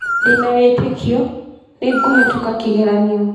Ndĩ na wĩtĩkio, nĩ ngũhĩtũka kĩgeranio.